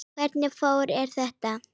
Hvernig fólk er þetta?